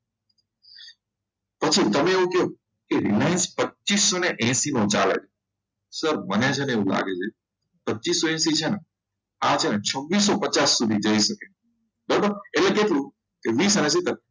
પછી તમે એવું કહો કે Reliance પચીસો ને એસી નો ચાલે છે sir મને છે ને એવું લાગે છે પચીસોએસી છે ને આ છે ને છવિસોપચાસ સુધી જઈ શકે બરાબર એટલે કેટલું વીસ અને